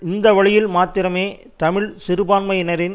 இந்த வழியில் மாத்திரமே தமிழ் சிறுபான்மையினரின்